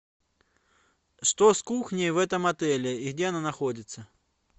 что с кухней в этом отеле и где она находится